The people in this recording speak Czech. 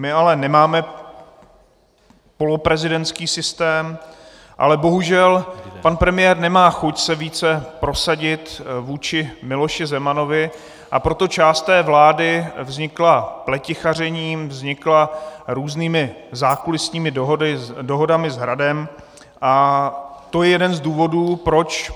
My ale nemáme poloprezidentský systém, ale bohužel pan premiér nemá chuť se více prosadit vůči Miloši Zemanovi, a proto část té vlády vznikla pletichařením, vznikla různými zákulisními dohodami s Hradem, a to je jeden z důvodů proč.